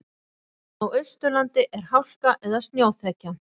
Á Austurlandi er hálka eða snjóþekja